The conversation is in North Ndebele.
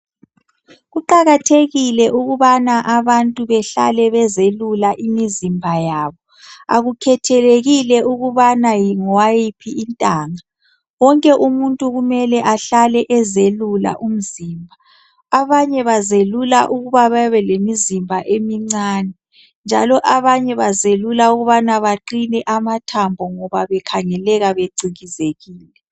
Kuqakathekile ukubana abantu behlale bezelula imizimba yabo. Akukhethelekile ukubana yi ungowayiphi intanga. Wonke umuntu kumele ahlale ezelula umzimba. Abanye bazelula ukuba babelemizimba emincane njalo abanye bazelula ukubana baqine amathambo ngoba bekhangeleka becikizekile.